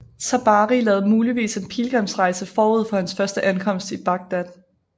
Tabari lavede muligvis en pilgrimsrejse forud for hans første ankomst i Bagdad